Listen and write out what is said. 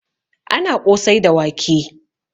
Ana ƙosai da wake